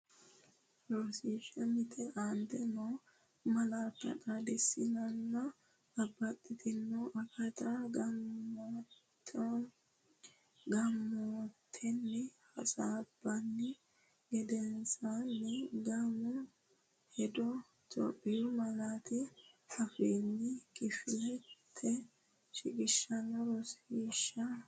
Rosiishsha Mite Aante noo malaatta xaadisannonsanna babbaxxitanno akatta gaamotenni hasaabbini gedensaanni gaamo’ne hedo Itophiyu malaatu afiinni kifilete shiqishshe Rosiishsha Mite.